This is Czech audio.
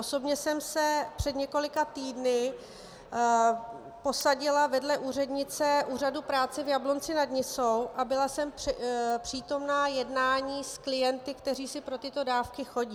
Osobně jsem se před několika týdny posadila vedle úřednice úřadu práce v Jablonci nad Nisou a byla jsem přítomna jednání s klienty, kteří si pro tyto dávky chodí.